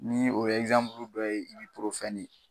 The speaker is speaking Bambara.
Ni o ye ye.